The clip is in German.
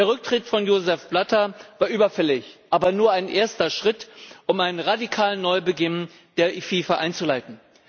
Der Rücktritt von Joseph Blatter war überfällig, aber nur ein erster Schritt, um einen radikalen Neubeginn der FIFA einzuleiten.